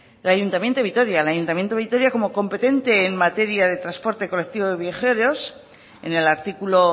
el ayuntamiento de vitoria como competente en materia de transporte colectivo de viajeros en el artículo